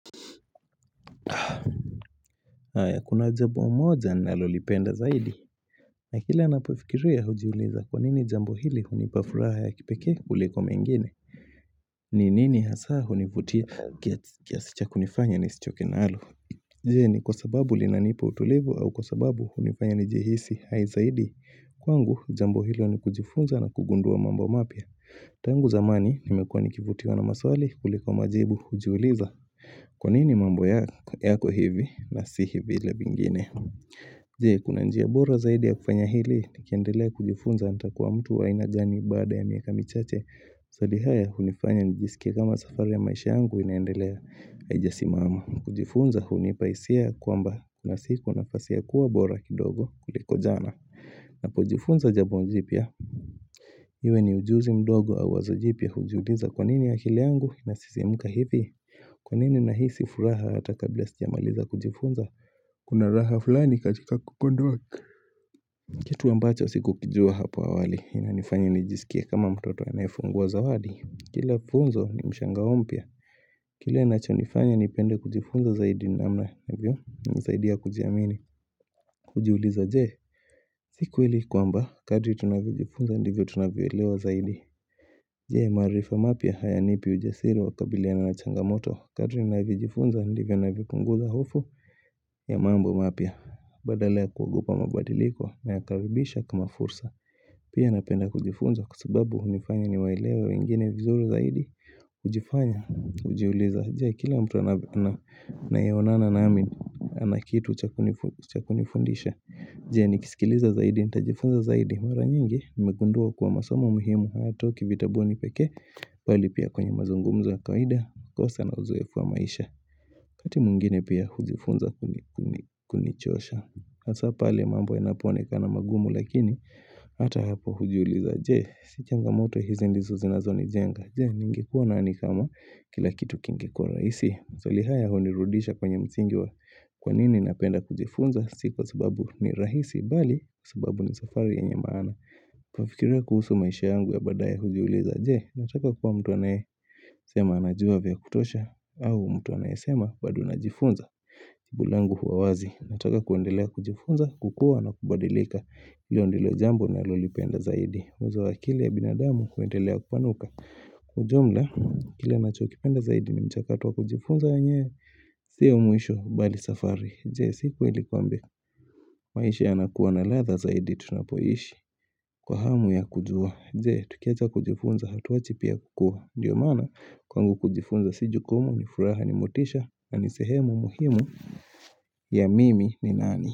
Aya kuna jambo moja nalolipenda zaidi na kila napofikiria hujiuliza kwa nini jambo hili unipafuraha ya kipekee kuliko mengine Ninini hasaa univutia kiasicha kunifanya nisichoke na alo Jeni kwa sababu linanipa utulivu au kwa sababu unifanya nijihisi haizaidi Kwa ngu jambo hilo ni kujifunza na kugundua mambo mapya Tangu zamani nimekuwa nikivutiwa na maswali kuliko majibu hujiuliza Kwa nini mambo yako hivi na si hivile vingine Jee kuna njia bora zaidi ya kufanya hili Nikiendelea kujifunza nitakuwa mtu wa ainagani baada ya miaka michache maswali haya hunifanya njisikie kama safari ya maisha yangu inaendelea aijasimama kujifunza hunipaisia kwamba na siku nafasi ya kuwa bora kidogo kuliko jana na pojifunza jambo jipya Iwe ni ujuzi mdogo au wazojipya hujiuliza kwa nini akili yangu na sisimuka hivi Kwa nini na hii sifuraha hata kabla sijamaliza kujifunza Kuna raha fulani katika kukondwa Kitu ambacho siku kijua hapa awali Inanifanya nijisikie kama mtoto anayefungua zawadi Kila funzo ni mshangao mpya Kile nacho nifanya nipende kujifunza zaidi namna nisaidia kujiamini Ujiuliza jee siku hili kwamba kadri tunavijifunza ndivyo tunavyoelewa zaidi Jee marifa mapya haya nipi ujasiri wakabiliana na changa moto Kadri nina vyojifunza ndivyo navyopunguza hofu ya mambo mapya Badala ya kuogopa mabadiliko na yakaribisha kama fursa Pia napenda kujifunza kwa sababu unifanya ni waelewe wengine vizuri zaidi Ujifanya ujiuliza Je kila mtu anayeonana nami anakitu chakunifundisha Je nikisikiliza zaidi nita jifunza zaidi Mara nyingi imegundua kuwa masomo muhimu hayatoki vitabuni pekee bali pia kwenye mazungumzo ya kawaida kosa na uzoefu wa maisha wakati mwingine pia hujifunza kunichosha hasa pale mambo yanapoone kana magumu lakini ata hapo hujiuliza je si changa moto hizi ndizo zinazo ni jenga je ningekuwa na nidhamu kila kitu kinge kuwa raisi maswali haya hunirudisha kwenye msingi wa kwa nini napenda kujifunza si kwa sababu ni rahisi bali sababu ni safari yenye maana kufikiria kuhusu maisha yangu ya baadaye hujiuliza je Nataka kuwa mtu anaye sema anajua vya kutosha au mtu anaye sema bado najifunza jibulangu huwa wazi Nataka kuendelea kujifunza kukua na kubadilika hilo ndilo jambo na lolipenda zaidi uwezo wa akili ya binadamu huendelea kupanuka Kwa ujumla kile nacho kipenda zaidi ni mchakato wa kujifunza wenyewe siyo mwisho bali safari Jee siku ilipambe maisha yanakuwa na ladha zaidi tunapoishi Kwa hamu ya kujua jee, tukiacha kujifunza hatu wachi pia kukua Ndiyo maana kwangu kujifunza siju kumu ni furaha ni motisha na ni sehemu muhimu ya mimi ni nani.